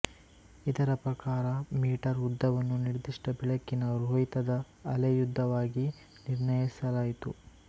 ಇದರ ಪ್ರಕಾರ ಮೀಟರ್ ಉದ್ದವನ್ನು ನಿರ್ದಿಷ್ಟ ಬೆಳಕಿನ ರೋಹಿತದ ಅಲೆಯುದ್ದವಾಗಿ ನಿರ್ಣಯಿಸಲಾಯಿತು